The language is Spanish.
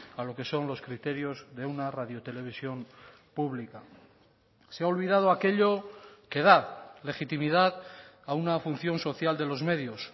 a lo que son los criterios de una radio televisión pública se ha olvidado aquello que da legitimidad a una función social de los medios